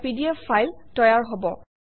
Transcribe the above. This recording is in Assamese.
এটা পিডিএফ ফাইল তৈয়াৰ হব